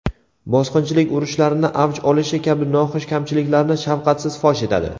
bosqinchilik urushlarini avj olishi kabi noxush kamchiliklarni shafqatsiz fosh etadi.